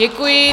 Děkuji.